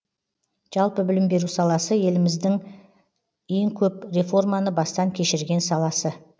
жалпы білім беру саласы еліміздің ең көп реформаны бастан кешірген саласы